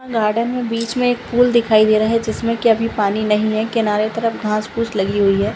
Garden है बीच में एक पूल दिखाई दे रहा है जिसमें के अभी पानी नहीं है किनारे तरफ घास फूस लगी हुई है।